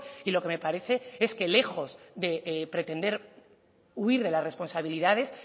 y lo que me parece es que lejos de pretender huir de la responsabilidades